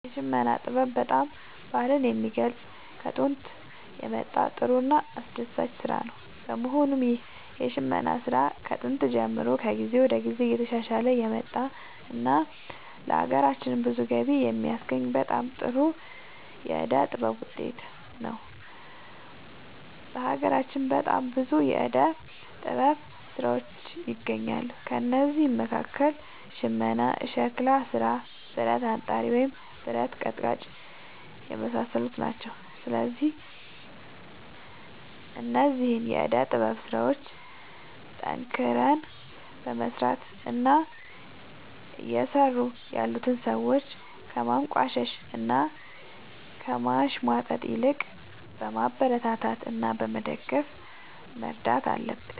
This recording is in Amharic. የሽመና ጥበብ በጣም ባህልን የሚገልፅ ከጦንት የመጣ ጥሩ እና አስደሳች ስራ ነው በመሆኑም ይህ የሽመና ስራ ከጥንት ጀምሮ ከጊዜ ወደ ጊዜ እየተሻሻለ የመጣ እና ለሀገራችንም ብዙ ገቢ የሚያስገኝ በጣም ጥሩ የዕደ ጥበብ ውጤት ነው። በሀገራችን በጣም ብዙ የዕደ ጥበብ ስራዎች ይገኛሉ ከእነዚህም መካከል ሽመና ሸክላ ስራ ብረት አንጣሪ ወይም ብረት ቀጥቃጭ የመሳሰሉት ናቸው። ስለዚህ እነዚህን የዕደ ጥበብ ስራዎች ጠንክረን በመስራት እና እየሰሩ ያሉትን ሰዎች ከማንቋሸሽ እና ከማሽሟጠጥ ይልቅ በማበረታታት እና በመደገፍ መርዳት አለብን